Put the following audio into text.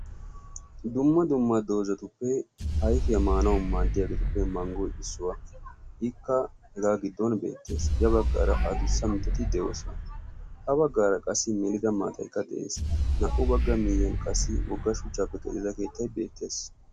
dumma dumma doozatuppe ayfiya maanawu maaddiyaageetuppe manggoy issuwaa ikka hegaa giddon beettees ya baggaara adussa mitati de'oosa ha baggaara qassi milida maataykka de'ees naa''u bagga miiyyiyan qassi wogga shuchchaappe qellida keettay beettees